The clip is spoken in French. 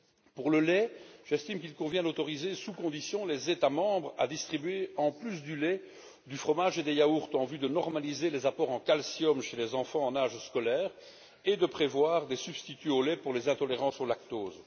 Pour le lait, j'estime qu'il convient d'autoriser sous conditions les États membres à distribuer, en plus du lait, du fromage et des yaourts en vue de normaliser les apports en calcium chez les enfants en âge scolaire et de prévoir des substituts au lait pour les enfants intolérants au lactose.